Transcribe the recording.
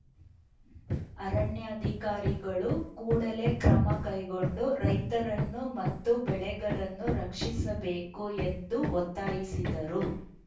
ಅರಣ್ಯಾಧಿಕಾರಿಗಳು ಕೂಡಲೇ ಕ್ರಮ ಕೈಗೊಂಡು ರೈತರನ್ನು ಮತ್ತು ಬೆಳೆಗಳನ್ನು ರಕ್ಷಿಸಬೇಕು ಎಂದು ಒತ್ತಾಯಿಸಿದರು